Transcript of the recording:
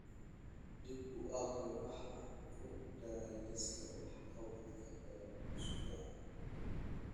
dib u akhri waxa aan ku daray liiska wax-qabadka ee usbuucan